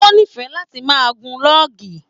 O n'ifẹ láti máa gùn lọọgì.